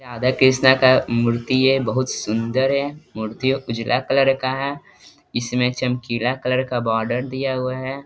राधा-कृष्ण का मूर्ति है बहुत सुंदर है मूर्ति है मूर्तियों उजला कलर का है इसमें चमकीला कलर का बॉर्डर दिया गया है।